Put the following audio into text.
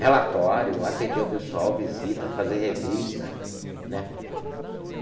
relatório, atender o pessoal, visita, fazer revista né.